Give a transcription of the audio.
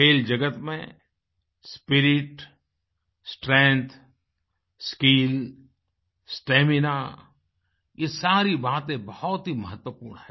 खेल जगत में स्पिरिट स्ट्रेंग्थ स्किल स्टैमिना ये सारी बातें बहुत ही महत्वपूर्ण हैं